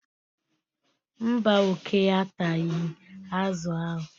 mba, oke ataghị azụ ahụ.